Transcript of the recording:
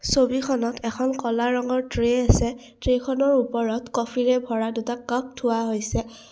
ছবিখনত এখন ক'লা ৰঙৰ ট্ৰে আছে ট্ৰেখনৰ ওপৰত কফিৰে ভৰা দুটা কাপ থোৱা হৈছে।